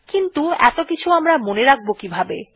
কিন্তু এত কিছু আমরা মনে রাখব কিভাবে160